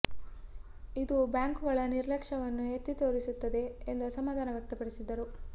ಇದು ಬ್ಯಾಂಕುಗಳ ನಿರ್ಲಕ್ಷ್ಯವನ್ನು ಎತ್ತಿ ತೋರಿಸು ತ್ತದೆ ಎಂದು ಅಸಮಾಧಾನ ವ್ಯಕ್ತಪಡಿಸಿದರು